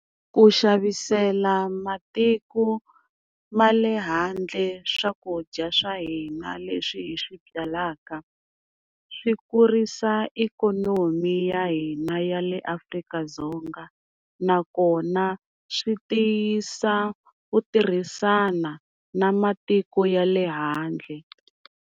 Ku xavisela matiko ma le handle swakudya swa hina leswi hi swi byalaka, swi kurisa ikonomi ya hina ya le Afrika-Dzonga nakona swi tiyisa ku tirhisana na matiko ya le handle.